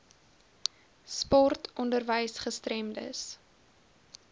sport onderwys gestremdes